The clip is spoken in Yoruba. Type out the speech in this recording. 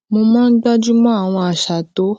mo máa ń gbájú mọ àwọn àṣà tó